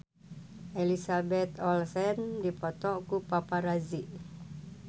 Elizabeth Olsen dipoto ku paparazi